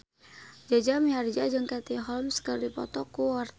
Jaja Mihardja jeung Katie Holmes keur dipoto ku wartawan